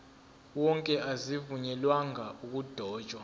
wonke azivunyelwanga ukudotshwa